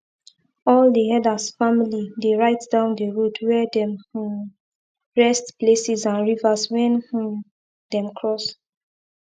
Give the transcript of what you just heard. all the herders family dey write down the road where them um rest places and rivers wen um them cross